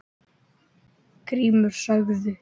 Grímur sagði